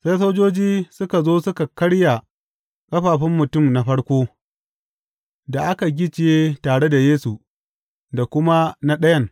Sai sojoji suka zo suka karya ƙafafun mutum na farko da aka gicciye tare da Yesu, da kuma na ɗayan.